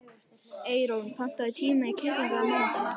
Eyrún, pantaðu tíma í klippingu á mánudaginn.